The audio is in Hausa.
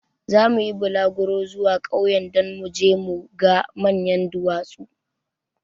Zamu yi bulaguro zuwa ƙauyen don mu je mu ga manyan duwatsun.